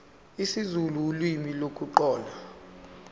isizulu ulimi lokuqala